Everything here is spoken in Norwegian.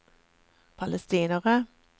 palestinere